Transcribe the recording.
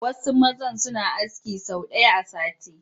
Wasu mazan suna aski sau ɗaya a sati